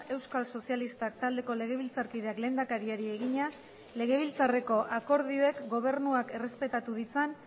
euskal sozialistak taldeko legebiltzarkideak lehendakariari egina legebiltzarreko akordioek gobernuak errespetatu ditzan